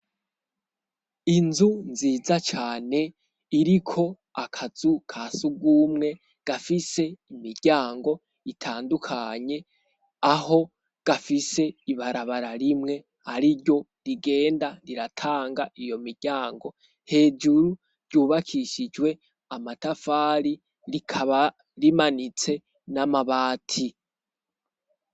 Inzu nziza cane iriko akazu ka siugumwe gafise imiryango itandukanye aho gafise ibarabara rimwe ari ryo rigenda riratanga iyo miryango hejuru ryubakishijwe amataa fari rikaba rimanitse n'amabati.